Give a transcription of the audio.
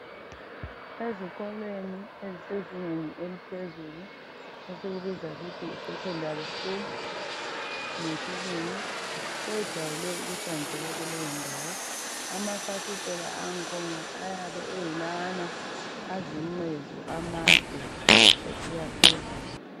Ezikolweni ezisezingeni eliphezulu esilibiza yikuthi yi 'secondary school ' ngesilungu, kwejwayele ukuhlanzeka kuleyo ndawo. Amafasithela angikhona ayabe ayilawana ayizincezu amade asiya phezulu.